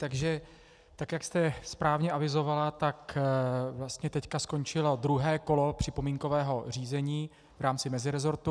Takže tak jak jste správně avizovala, tak vlastně teď skončilo druhé kolo připomínkového řízení v rámci mezirezortu.